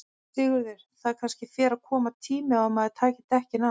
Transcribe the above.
Sigurður: Það kannski fer að koma tími á að maður taki dekkin af?